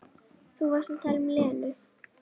Þú varst að tala um Lenu.